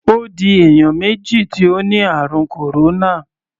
Ó di èèyàn méjì tí ó ni ààrùn kòróná.